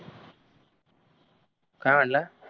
काय म्हणला